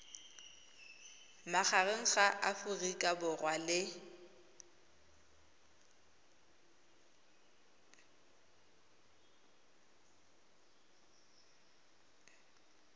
magareng ga aforika borwa le